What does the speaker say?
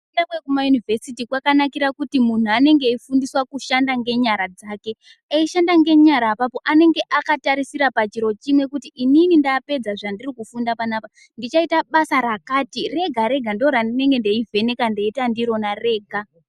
Kufunda kwekumaunivhesiti kwakanakira kuti muntu anenge arikufundiswa kushanda ngenyara dzake eishanda ngenyara apapo anenge akatarisira chiro chimwe kuti inini, ndapedza zvandiri kufunda panapa ndichaita basa Rakati Rega Rega ndorandichange ndeivheneka ndeita ndirona rega.